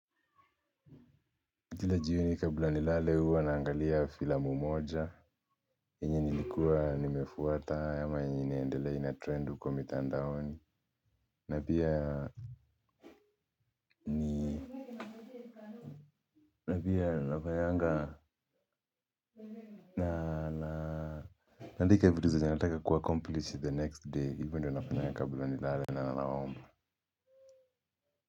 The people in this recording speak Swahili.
Kila jioni kabla ni lale huwa naangalia fila mmoja yenye nilikuwa nimefuata ama yenye inaendelea ina trend huko mitandaoni. Napia napia nafanyanga nala. Naandika vitu zenye nataka ku accomplish the next day hivyo ndo nafanyaga kabla nilale na nanaomba.